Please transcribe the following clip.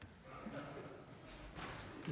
tak